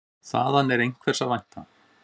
Þaðan er einhvers að vænta.